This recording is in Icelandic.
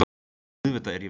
Auðvitað er ég viss.